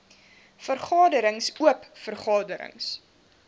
vergaderings oop vergaderings